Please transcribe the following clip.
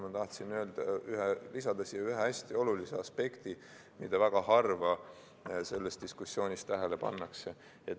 Ma tahtsin lisada siia ühe hästi olulise aspekti, mida väga harva selles diskussioonis tähele pannakse.